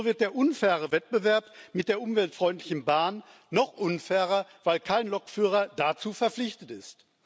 So wird der unfaire Wettbewerb mit der umweltfreundlichen Bahn noch unfairer, weil kein Lokführer dazu verpflichtet ist.